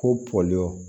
Ko pɔlɔ